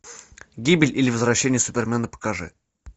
гибель или возвращение супермена покажи